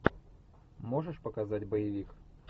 можешь показать боевик